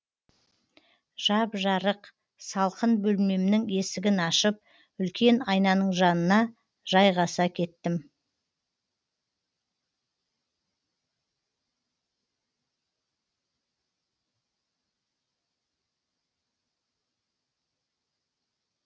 жап жарық салқын бөлмемнің есігін ашып үлкен айнаның жанына жайғаса кеттім